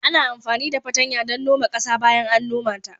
Ana amfani da patanya don noma ƙasa bayan an noma ta